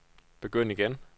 begynd igen